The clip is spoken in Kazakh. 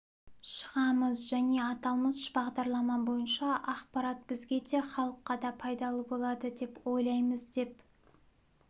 шығамыз және аталмыш бағдарлама бойынша ақпарат бізге де халыққа да пайдалы болады деп ойлаймыз деп